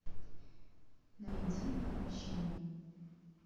найди отмщение